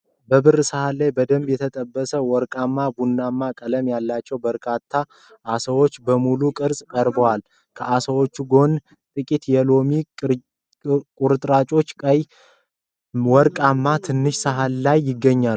በብር ሳህን ላይ በደንብ የተጠበሱና ወርቃማ ቡናማ ቀለም ያላቸው በርካታ ዓሳዎች በሙሉ ቅርፅ ቀርበዋል። ከዓሳዎቹ ጎን ጥቂት የሎሚ ቁርጥራጮችና ቀይ መረቅ በትንሽ ሳህን ላይ ይገኛል።